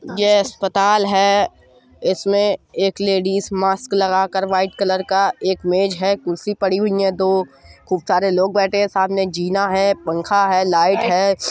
यह अस्पताल है | इसमें एक लेडीस मास्क लगा कर व्हाइट कलर का एक मेज है कुर्सी पड़ी हुईं हैं दो खूब सारे लोग बैठें हैं साथ मे एक जीना है पंखा है लाइट है।